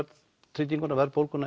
trygginguna verðbólguna